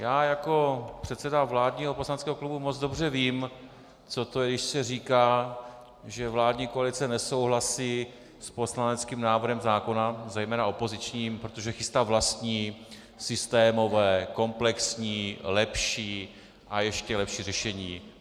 Já jako předseda vládního poslaneckého klubu moc dobře vím, co to je, když se říká, že vládní koalice nesouhlasí s poslaneckým návrhem zákona, zejména opozičním, protože chystá vlastní, systémové, komplexní, lepší a ještě lepší řešení.